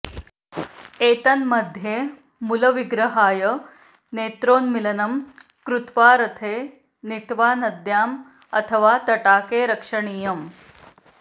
एतन्मध्ये मूलविग्रहाय नेत्रोन्मीलनं कृत्वा रथे नीत्वा नद्यां अथवा तटाके रक्षणीयम्